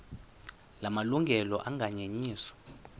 la malungelo anganyenyiswa